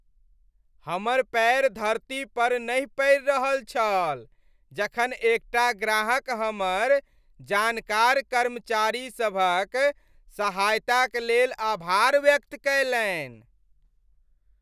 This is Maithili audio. हमर पैर धरती पर नहि पड़ि रहल छल जखन एकटा ग्राहक हमर जानकार कर्मचारीसभक सहायताक लेल आभार व्यक्त कयलनि।